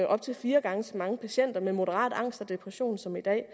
op til fire gange så mange patienter med moderat angst og depression som man kan